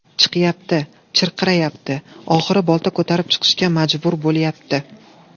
Chiqyapti, chirqirayapti, oxiri bolta ko‘tarib chiqishga majbur bo‘lyapti.